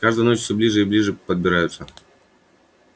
с каждой ночью всё ближе и ближе подбираются